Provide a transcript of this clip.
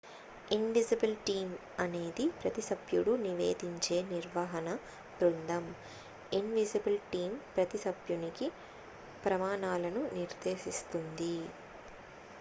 """Invisible team" అనేది ప్రతి సభ్యుడు నివేదించే నిర్వహణ బృందం. ఇన్విజిబుల్ టీం ప్రతి సభ్యునికి ప్రమాణాలను నిర్దేశిస్తుంది.